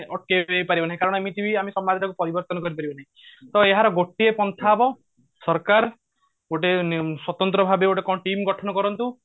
ଅଟକେଇ ପାରିବ ନାହିଁ କାରଣ ଏମିତି ବି ଆମେ ସମାଜ ଟାକୁ ପରିବର୍ତନ କରି ପାରିବାନି ତ ଏହାର ଗୋଟିଏ ପନ୍ଥା ହେବ ସରକାର ଗୋଟେ ସ୍ବତନ୍ତ୍ର ଭାବ ଗୋଟେ କଣ team ଗଠନ କରନ୍ତୁ